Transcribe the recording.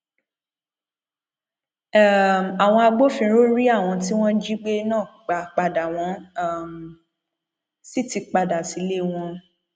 um àwọn agbófinró rí àwọn tí wọn jí gbé náà gbà padà wọn um sì ti padà sílé wọn